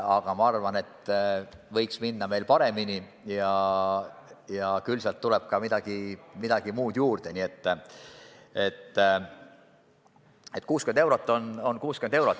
Aga ma arvan, et võiks minna paremini ja küll sealt tuleb ka midagi muud juurde, nii et 60 eurot on 60 eurot.